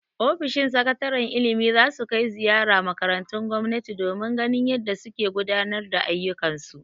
Ofishin sakataren ilimi za su kai ziyara makarantun gomnati domin ganin yadda suke gudanar da ayyukan su.